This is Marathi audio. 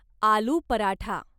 आलू पराठा